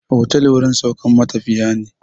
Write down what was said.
Otal wajen saukan matafiya ne